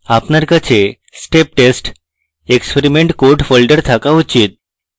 আপনার কাছে step test experiment code folder থাকা উচিত